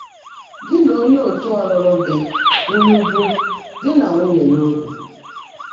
Gị́ nà óńyé ọ̀tú́ ọ́lụ́lụ́ gị́ ụ̀nụ́ bụ́ dí nà nwúnyé n’óbi?